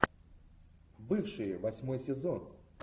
бывшие восьмой сезон